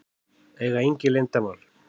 Eiga engin leyndarmál.